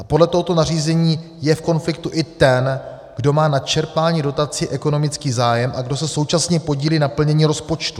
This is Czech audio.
A podle tohoto nařízení je v konfliktu i ten, kdo má na čerpání dotací ekonomický zájem a kdo se současně podílí na plnění rozpočtu.